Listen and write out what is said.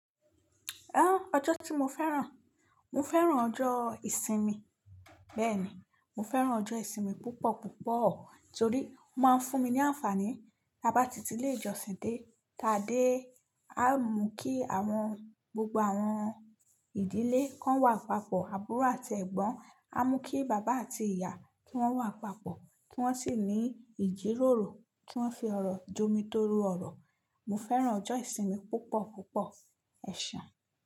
Ẹ́, ọjọ́ tí mo fẹ́ràn? Mo fẹ́ràn ọjọ́ ìsinmi. Bẹ́ẹ̀ni, mo fẹ́ràn ọjọ́ ìsinmi púpọ̀ púpọ̀ torí ó máa ń fún mi ní àǹfààní. Bá tí ti ilé ìjọsìn dé, tá dé, á mú kí àwọn gbogbo àwọn ìdílé kan wà papọ̀, àbúrò àti Ẹ̀gbọ́n, á mú kí bàbá àti ìyá kí wọ́n wà papọ̀, kí wọ́n sì ní ìjíròrò, kí wọ́n fi ọ̀rọ̀ jomi toro ọ̀rọ̀. Mo fẹ́ràn ọjọ́ ìsinmi púpọ̀ púpọ̀, ẹ̀san.